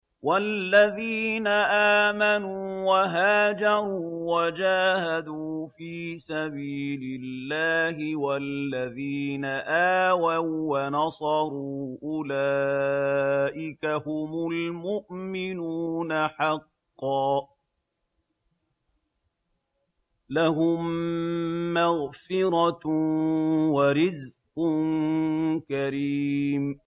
وَالَّذِينَ آمَنُوا وَهَاجَرُوا وَجَاهَدُوا فِي سَبِيلِ اللَّهِ وَالَّذِينَ آوَوا وَّنَصَرُوا أُولَٰئِكَ هُمُ الْمُؤْمِنُونَ حَقًّا ۚ لَّهُم مَّغْفِرَةٌ وَرِزْقٌ كَرِيمٌ